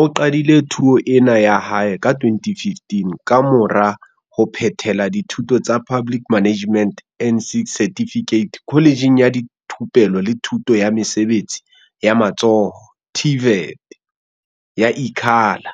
o qadile thuo ena ya hae ka 2015 kamora ho phethela dithuto tsa Public Management N6 Certificate Kholejeng ya Thupelo le Thuto ya Mesebetsi ya Matsoho, TVET, ya Ikhala.